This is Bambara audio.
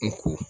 N ko